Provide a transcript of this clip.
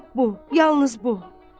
Hep bu, yalnız bu.